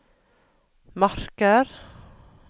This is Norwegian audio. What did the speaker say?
marker